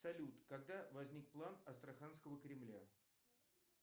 салют когда возник план астраханского кремля